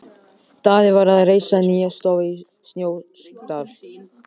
Daði var að reisa nýja stofu í Snóksdal.